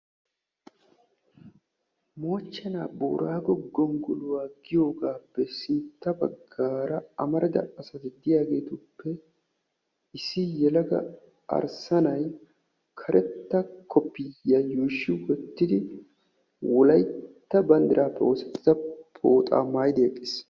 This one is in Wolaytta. Moochchena boorago gonggoluwaa giyogappe sintta baggara amarida asaay diyaagetuppe issi yelaga arssa na'ay karetta koppiyiya yuushshi wottidi wolaytta banddirappe oosettida pooxa maayidi eqqiis.